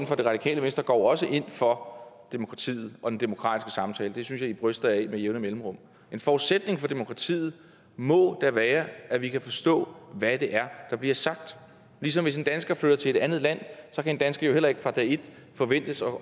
for det radikale venstre går jo også ind for demokratiet og den demokratiske samtale det synes jeg i bryster jer af med jævne mellemrum en forudsætning for demokratiet må da være at vi kan forstå hvad det er der bliver sagt ligesom hvis en dansker flytter til et andet land så kan en dansker jo heller ikke fra dag et forventes at